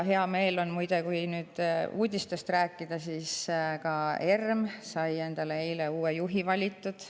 Hea meel on, muide, kui nüüd uudistest rääkida, selle üle, et ERM sai endale eile uue juhi valitud.